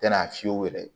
Tɛna fiyɛ u yɛrɛ ye